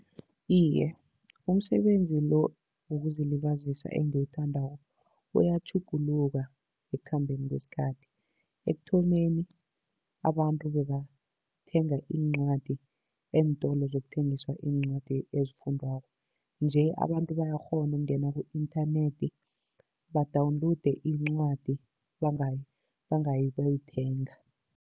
Iye, umsebenzi lo wokuzilibazisa engiwuthandako uyatjhuguluka ekukhambeni kwesikhathi. Ekuthomeni abantu bebathenga iincwadi eentolo zokuthengisa iincwadi ezifundwako, nje abantu bayakghona ukungena ku-inthanethi badawunlowude incwadi bangayi bayoyithenga.